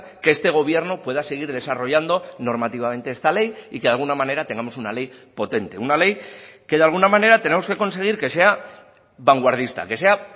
que este gobierno pueda seguir desarrollando normativamente esta ley y que de alguna manera tengamos una ley potente una ley que de alguna manera tenemos que conseguir que sea vanguardista que sea